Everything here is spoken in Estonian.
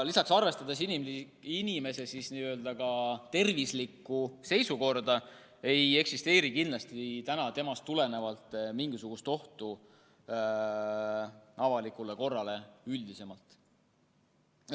Lisaks, arvestades ka tema tervislikku seisukorda, ei ole kindlasti temast tulenevalt mingisugust ohtu avalikule korrale üldisemalt.